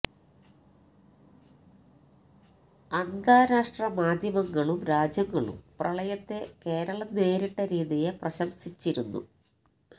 അന്ത്രാഷ്ട്ര മാധ്യമങ്ങളും രാജ്യങ്ങളും പ്രളയത്തെ കേരളം നേരിട്ട രീതിയെ പ്രശംസിച്ചിരുന്നു